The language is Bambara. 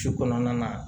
Su kɔnɔna na